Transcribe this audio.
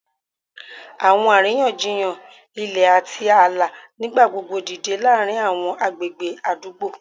Awọn ariyanjiyan ilẹ ati aala nigbagbogbo dide laarin awọn agbegbe adugbo,